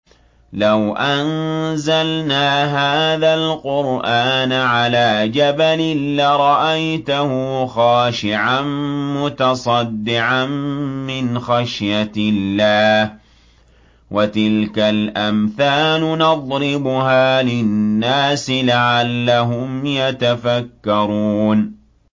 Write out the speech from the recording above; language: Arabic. لَوْ أَنزَلْنَا هَٰذَا الْقُرْآنَ عَلَىٰ جَبَلٍ لَّرَأَيْتَهُ خَاشِعًا مُّتَصَدِّعًا مِّنْ خَشْيَةِ اللَّهِ ۚ وَتِلْكَ الْأَمْثَالُ نَضْرِبُهَا لِلنَّاسِ لَعَلَّهُمْ يَتَفَكَّرُونَ